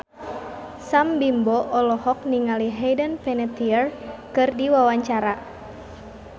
Sam Bimbo olohok ningali Hayden Panettiere keur diwawancara